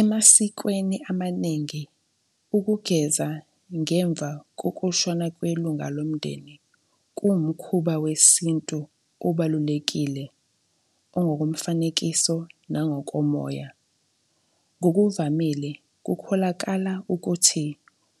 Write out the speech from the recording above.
Emasikweni amaningi, ukugeza ngemva kokushona kwelunga lomndeni kuwumkhuba wesintu obalulekile ongokomfanekiso nangokomoya. Ngokuvamile, kukholakala ukuthi